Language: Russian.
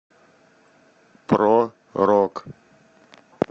про рок